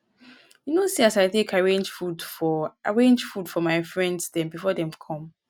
you no see as i take arange food for arange food for my friends dem before dem come?